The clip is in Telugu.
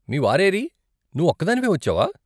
మీ వారు ఏరీ, నువ్వు ఒక్కదానివే వచ్చావా?